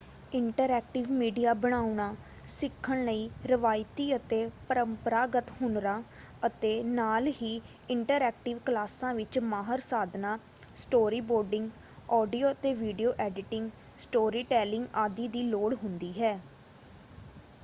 Interactive media ਬਣਾਉਣਾ ਸਿੱਖਣ ਲਈ ਰਵਾਇਤੀ ਅਤੇ ਪਰੰਪਰਾਗਤ ਹੁਨਰਾਂ ਅਤੇ ਨਾਲ ਹੀ ਇੰਟਰਐਕਟਿਵ ਕਲਾਸਾਂ ਵਿੱਚ ਮਾਹਰ ਸਾਧਨਾਂ ਸਟੋਰੀ ਬੋਰਡਿੰਗ ਆਡੀਓ ਅਤੇ ਵੀਡੀਓ ਐਡੀਟਿੰਗ ਸਟੋਰੀ ਟੈਲਿੰਗ ਆਦਿ ਦੀ ਲੋੜ ਹੁੰਦੀ ਹੈ।